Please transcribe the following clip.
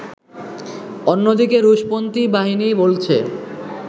অন্যদিকে রুশপন্থী বাহিনী বলছে